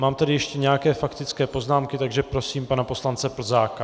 Mám tady ještě nějaké faktické poznámky, takže prosím pana poslance Plzáka.